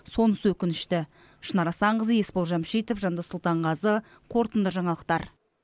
сонысы өкінішті шынар асанқызы есбол жамшитов жандос сұлтанғазы қорытынды жаңалықтар